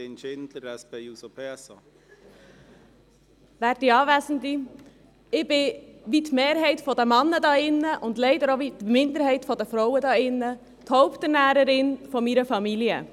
Ich bin – wie die Mehrheit der Männer hier drin, und leider wie die Minderheit der Frauen – die Haupternährerin meiner Familie.